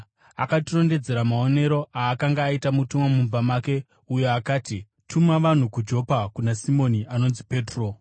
Akatirondedzera maonero aakanga aita mutumwa mumba make, uyo akati, ‘Tuma vanhu kuJopa kuna Simoni anonzi Petro.